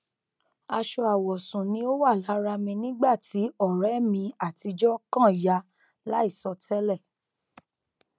aṣọ awọsun ni o wa lara mi nigba ti ọrẹ mi atijọ kan ya laisọ tẹlẹ